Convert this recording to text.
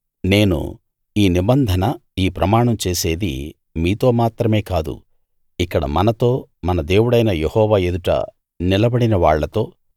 నేను ఈ నిబంధన ఈ ప్రమాణం చేసేది మీతో మాత్రమే కాదు ఇక్కడ మనతో మన దేవుడైన యెహోవా ఎదుట నిలబడిన వాళ్ళతో